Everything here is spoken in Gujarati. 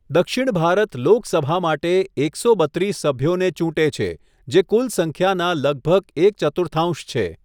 દક્ષિણ ભારત લોકસભા માટે એકસો બત્રીસ સભ્યોને ચૂંટે છે, જે કુલ સંખ્યાના લગભગ એક ચતુર્થાંશ છે.